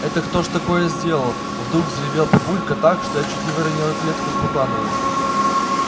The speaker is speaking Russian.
это кто ж такое сделал вдруг взревел папулька так что я чуть не выронила клетку с баклановым